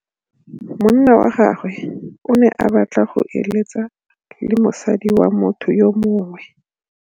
Monna wa gagwe o ne a batla go êlêtsa le mosadi wa motho yo mongwe.